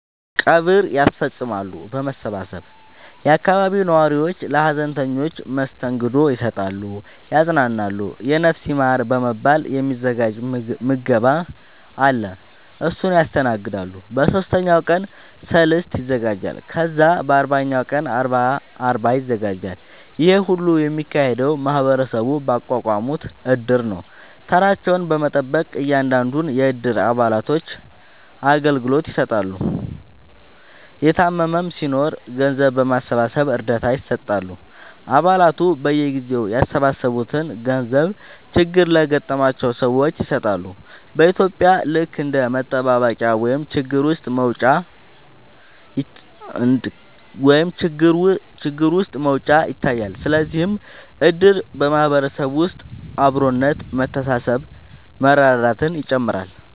ቀብር ያስፈፅማሉ በመሰባሰብ የአካባቢው ነዋሪዎች ለሀዘንተኞች መስተንግዶ ይሰጣሉ ያፅናናሉ የነፍስ ይማር በመባል የ ሚዘጋጅ ምገባ አለ እሱን ያስተናግዳሉ በ ሶስተኛው ቀን ሰልስት ይዘጋጃል ከዛ በ አርባኛው ቀን አርባ ይዘጋጃል ይሄ ሁሉ የሚካሄደው ማህበረሰቡ ባቋቋሙት እድር ነው ተራቸውን በመጠበቅ እያንዳንዱን የ እድሩ አባላቶች አገልግሎት ይሰጣሉ የታመመም ሲናኖር ገንዘብ በማሰባሰብ እርዳታ ይሰጣሉ አ ባላቱ በየጊዜው ያሰባሰቡትን ገንዘብ ችግር ለገጠማቸው ሰዎች ይሰጣሉ በ ኢትዩጵያ ልክ እንደ መጠባበቂያ ወይም ችግር ውስጥ መውጫ ይታያል ስለዚህም እድር በ ማህበረሰብ ውስጥ አብሮነት መተሳሰብ መረዳዳትን ይጨምራል